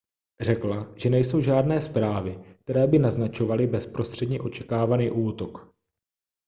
řekla že nejsou žádné zprávy které by naznačovaly bezprostředně očekávaný útok